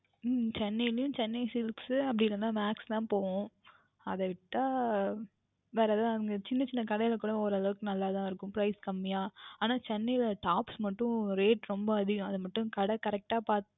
உம் Chennai ளையும் Chennai silk அப்படி இல்லை என்றால் Max தான் போவோம் அதைவிட்டால் வேர் எதாவுது அங்கே சின்ன சின்ன கடையில் கூட ஒரு அளவிற்கு நன்றாக தான் இருக்கும் Price கம்மியாக ஆனால் Chennai ல Tops மற்றும் Rate ரொம்பா அதிகம் அதை மற்றும் கடை பார்த்து